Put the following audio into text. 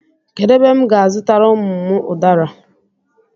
Kedu ebe m ga-azutara ụmụ m udara?